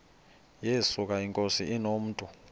yesuka inkosi inomntu